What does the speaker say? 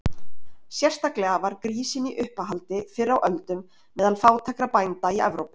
Sérstaklega var grísinn í uppáhaldi fyrr á öldum meðal fátækra bænda í Evrópu.